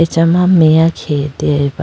acha ma meya khege deyaba.